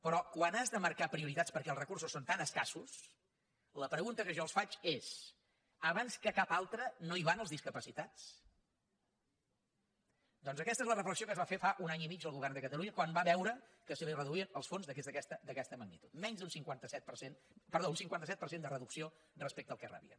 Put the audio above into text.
però quan has de marcar prioritats perquè els recursos són tan escassos la pregunta que jo els faig és abans que cap altre no hi van els discapacitats doncs aquesta és la reflexió que es va fer fa un any i mig el govern de catalunya quan va veure que se li reduïen els fons en aquesta magnitud un cinquanta set per cent de reducció respecte al que rebia